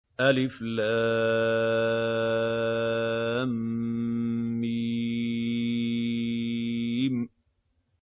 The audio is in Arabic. الم